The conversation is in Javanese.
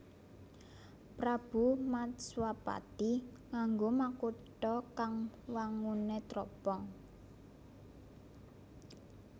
Prabu Matswapati nganggo makutha kang wanguné tropong